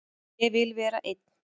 Ég vil vera einn.